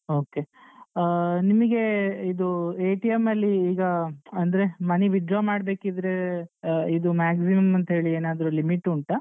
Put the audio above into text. Okay . ಆ ನಿಮ್ಗೆ ಇದು ಅಲ್ಲಿ ಈಗ ಅಂದ್ರೆ money withdraw ಮಾಡ್ಬೇಕಿದ್ರೆ ಆ ಇದು maximum ಅಂತ ಹೇಳಿ ಏನಾದ್ರು limit ಉಂಟಾ.